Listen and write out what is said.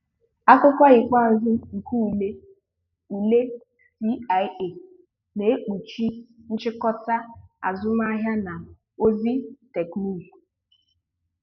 Akụkụ ikpeazụ nke ule ule CIA na-ekpuchi nchịkọta azụmahịa na ozi teknụzụ